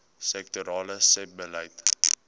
sektorale sebbeleid